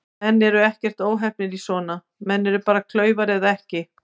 Menn eru ekkert óheppnir í svona, menn eru bara klaufar eða ekki.